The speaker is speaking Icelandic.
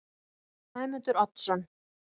Sæmundur Oddsson